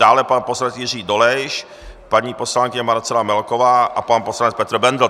Dále pan poslanec Jiří Dolejš, paní poslankyně Marcela Melková a pan poslanec Petr Bendl.